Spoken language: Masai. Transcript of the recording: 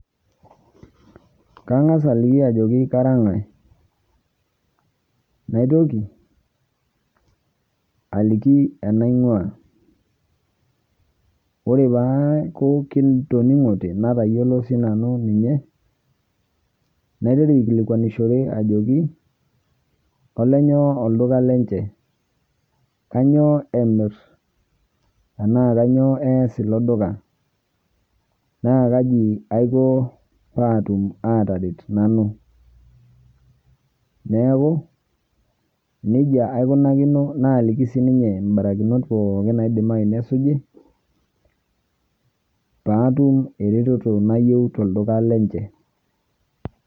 Kangas aliki ajo kara nkae. Naitoki aliki enainkua ore peeku kitoninkote atayiolo sii nanu ninye, naiteru aikilikuanishore ajoki kolenyoo olduka lenje, kanyio emir enaa kanyio eas iloduka, naa kaji aiko paatum ataret nanu. Neeku nejia aikunakino naliki siininje ibarakinot naidimayu nesuji pootum eretoto nayieu natum tolduka nenje.